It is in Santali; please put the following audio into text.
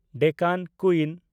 ᱰᱮᱠᱟᱱ ᱠᱩᱭᱤᱱ